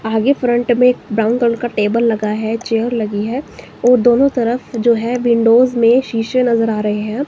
आगे फ्रंट में brown colour का टेबल लगा है चेयर लगी है और दोनों तरफ जो है विंडोज में शीशे नजर आ रहे हैं।